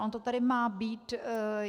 Ono to tady má být.